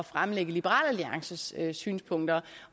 fremlægge liberal alliances synspunkter